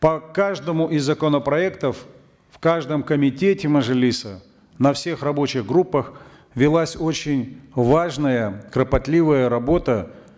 по каждому из законопроектов в каждом комитете мажилиса на всех рабочих группах велась очень важная кропотливая работа